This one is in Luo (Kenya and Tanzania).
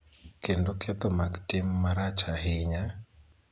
kendo ketho mag tim marach ahinya,